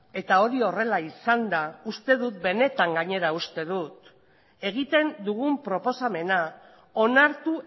eta hori horrela izanda uste dut benetan gainera uste dut egiten dugun proposamena onartu